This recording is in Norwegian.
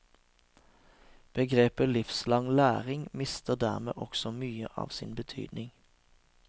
Begrepet livslang læring mister dermed også mye av sin betydning.